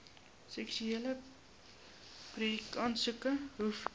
suksesvolle projekaansoeke hoef